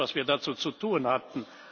Das war alles, was wir dazu zu tun hatten.